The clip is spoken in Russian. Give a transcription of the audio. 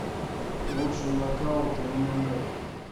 лучший нокаут в эмэмэй